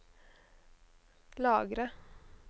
lagre